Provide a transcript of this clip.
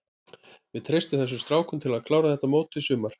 Við treystum þessum strákum til að klára þetta mót í sumar.